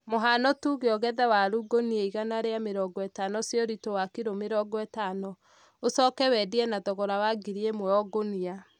mũhano tuge ũgethe waru gũnia igana rĩa mĩrongo itano cia ũrit̄u wakiro mĩrongo itano, ũcooke wendie na thogora wa ngiri ĩmwe oo gũnia